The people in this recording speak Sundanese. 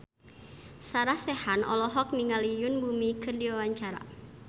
Sarah Sechan olohok ningali Yoon Bomi keur diwawancara